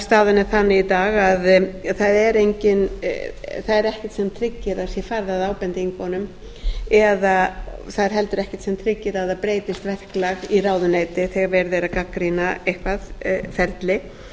staðan er þannig í dag að það er ekkert sem tryggir að það sé farið að ábendingunum eða það er heldur ekkert sem tryggir að það breytist verklag í ráðuneyti þegar verið er að gagnrýna eitthvað ferli